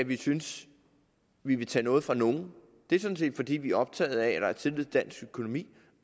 vi synes vi vil tage noget fra nogen det er sådan set fordi vi er optaget af at der er tillid til dansk økonomi